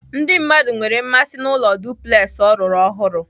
Ndị mmadụ nwere mmasị n'ụlọ duplex ọ rụrụ ọhụrụ.